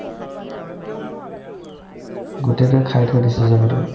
গোটেটোয়ে খাই থৈ দিছে জাগাতো